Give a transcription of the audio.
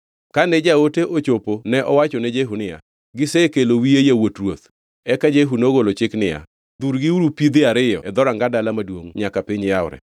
Kane jaote ochopo ne owacho ne Jehu niya, “Gisekelo wiye yawuot ruoth.” Eka Jehu nogolo chik niya, “Dhurgiuru pidhe ariyo e dhoranga dala maduongʼ nyaka piny yawre.”